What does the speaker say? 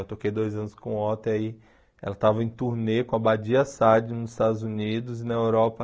Eu toquei dois anos com o Otto, e aí ela estava em turnê com a Badia Saad nos Estados Unidos e na Europa.